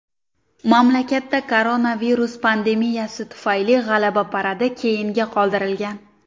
Mamlakatda koronavirus pandemiyasi tufayli G‘alaba paradi keyinga qoldirilgan .